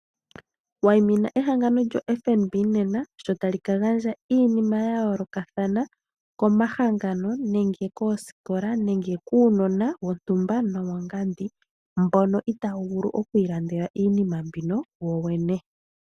Wayimina ehangano lyo FNB nena. Sho ta li ka gandja iinima ya yoolokathana komahangano nenge koosikola nokuunona. Mbono itaawu vulu oku ilandela iinima mbino wowene.